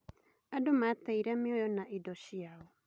Andũ mateire mĩoyo na indo ciao.